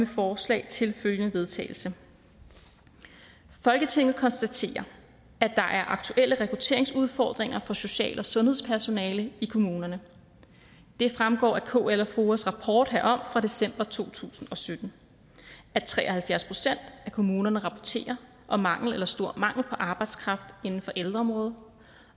forslag til vedtagelse folketinget konstaterer at der er aktuelle rekrutteringsudfordringer for social og sundhedspersonale i kommunerne det fremgår af kl og foa’s rapport herom fra december to tusind og sytten at tre og halvfjerds procent af kommunerne rapporterer om mangel eller stor mangel på arbejdskraft inden for ældreområdet